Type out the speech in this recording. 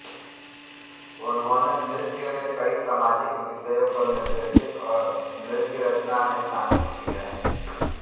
उन्होंने नृत्य में कई सामाजिक विषयों को निर्देशित और नृत्यरचना में शामिल किया